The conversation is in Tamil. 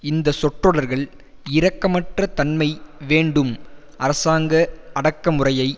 இந்த சொற்றொடர்கள் இரக்கமற்ற தன்மை வேண்டும் அரசாங்க அடக்குமுறையை